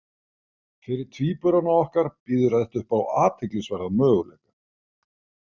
Fyrir tvíburana okkar býður þetta upp á athyglisverðan möguleika.